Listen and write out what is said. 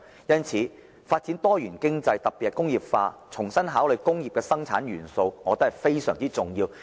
因此，發展多元經濟，特別是工業化，重新考慮工業生產元素，我認為是非常重要的。